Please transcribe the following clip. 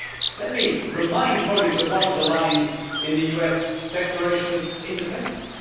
Let me remind colleagues of one of the lines in the US Declaration of Independence.